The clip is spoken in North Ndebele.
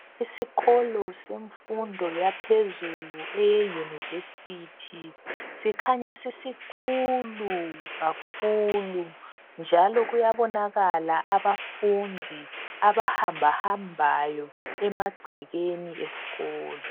Isikolo semfundo yaphezulu e yunivesithi sikhanya sisikhulu kakhulu njalo kuyabonakala abafundi abahamba hambayo emagcekeni esikolo.